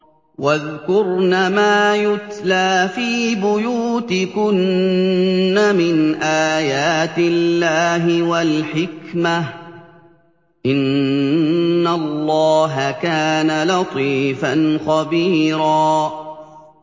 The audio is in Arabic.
وَاذْكُرْنَ مَا يُتْلَىٰ فِي بُيُوتِكُنَّ مِنْ آيَاتِ اللَّهِ وَالْحِكْمَةِ ۚ إِنَّ اللَّهَ كَانَ لَطِيفًا خَبِيرًا